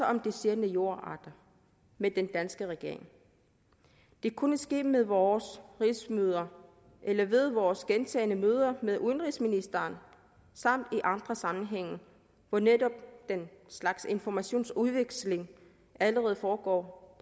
om de sjældne jordarter med den danske regering det kunne ske ved vores rigsmøder eller ved vores gentagne møder med udenrigsministeren samt i andre sammenhænge hvor netop den slags informationsudveksling allerede foregår